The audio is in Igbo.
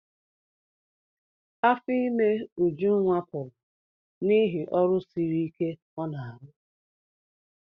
Afọ ime Ujunwa pụrụ n'ihi ọrụ siri ike ọ n'arụ.